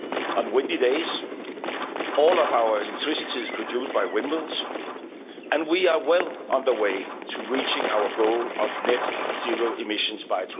On windy days, all of our electricity is produced by windmills, and we are well on the way to reaching our goal of net zero emissions